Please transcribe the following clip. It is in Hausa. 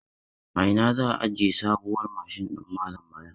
A ina za a aje sabuwar mashin din malam Bala?